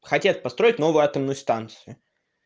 хотят построить новую атомную станцию